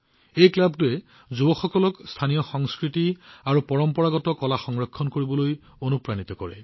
এই ক্লাবটোৱে যুৱসকলক স্থানীয় সংস্কৃতি আৰু পৰম্পৰাগত কলা সংৰক্ষণ কৰিবলৈ অনুপ্ৰাণিত কৰে